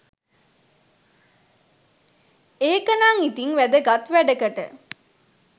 ඒකනං ඉතින් වැදගත් වැඩකට